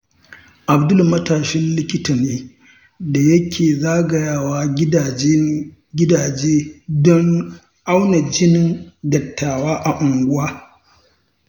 Abdul matashin likita ne da yake zagayawa gidaje don auna jinin dattawan unguwa.